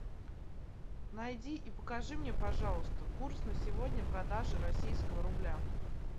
найди и покажи мне пожалуйста курс на сегодня продажи российского рубля